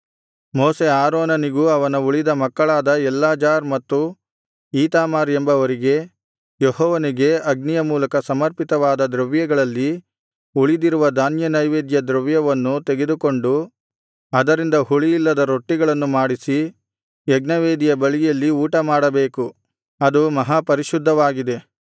ಮೋಶೆ ಆರೋನನಿಗೂ ಅವನ ಉಳಿದ ಮಕ್ಕಳಾದ ಎಲ್ಲಾಜಾರ್ ಮತ್ತು ಈತಾಮಾರ್ ಎಂಬವರಿಗೆ ಯೆಹೋವನಿಗೆ ಅಗ್ನಿಯ ಮೂಲಕ ಸಮರ್ಪಿತವಾದ ದ್ರವ್ಯಗಳಲ್ಲಿ ಉಳಿದಿರುವ ಧಾನ್ಯನೈವೇದ್ಯ ದ್ರವ್ಯವನ್ನು ತೆಗೆದುಕೊಂಡು ಅದರಿಂದ ಹುಳಿಯಿಲ್ಲದ ರೊಟ್ಟಿಗಳನ್ನು ಮಾಡಿಸಿ ಯಜ್ಞವೇದಿಯ ಬಳಿಯಲ್ಲಿ ಊಟಮಾಡಬೇಕು ಅದು ಮಹಾಪರಿಶುದ್ಧವಾಗಿದೆ